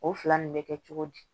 O fila nin bɛ kɛ cogo di